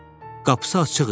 Qapısı açıq idi.